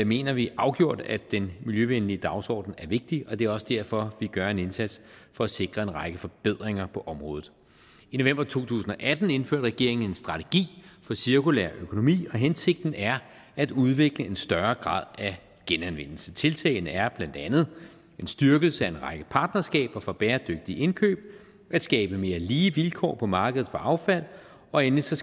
mener vi afgjort at den miljøvenlige dagsorden er vigtig det er også derfor vi gør en indsats for at sikre en række forbedringer på området i november to tusind og atten indførte regeringen en strategi for cirkulær økonomi og hensigten er at udvikle en større grad af genanvendelse tiltagene er blandt andet en styrkelse af en række partnerskaber for bæredygtige indkøb at skabe mere lige vilkår på markedet for affald og endelig skal